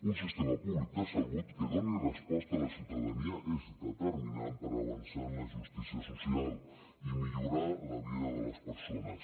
un sistema públic de salut que doni resposta a la ciutadania és determinant per avançar en la justícia social i millorar la vida de les persones